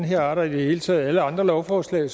her art og i det hele taget alle andre lovforslag